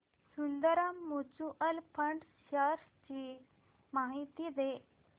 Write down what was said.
Sundaram mutual fund shares ची माहिती दे